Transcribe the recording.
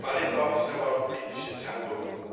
Vor allem braucht es aber auch politisches Handeln.